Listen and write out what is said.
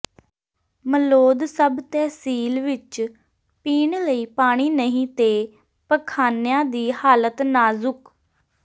Malaud sub tehsil ਵਿਚ ਪੀਣ ਲਈ ਪਾਣੀ ਨਹੀਂ ਤੇ ਪਖਾਨਿਆਂ ਦੀ ਹਾਲਤ ਨਾਜ਼ੁਕ